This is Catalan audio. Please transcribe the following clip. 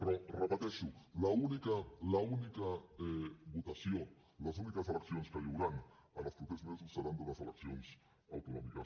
però ho repeteixo l’única l’única votació les úniques eleccions que hi hauran els propers mesos seran unes eleccions autonòmiques